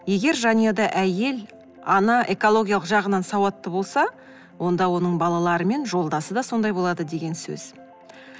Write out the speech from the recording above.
егер жанұяда әйел ана экологиялық жағынан сауатты болса онда оның балалары мен жолдасы да сондай болады деген сөз